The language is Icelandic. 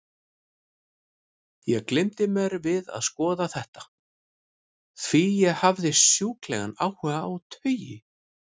Ég gleymdi mér við að skoða þetta, því ég hafði sjúklegan áhuga á taui.